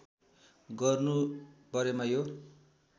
गर्नु परेमा यो